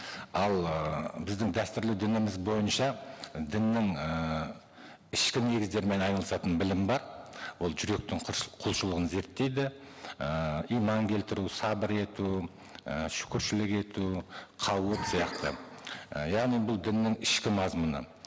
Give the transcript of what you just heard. ал ыыы біздің дәстүрлі дініміз бойынша діннің ііі ішкі негіздерімен айналысатын білім бар ол жүректің құлшылығын зерттейді ііі иман келтіру сабыр ету і шұкіршілік ету қаулық сияқты і яғни бұл діннің ішкі мазмұны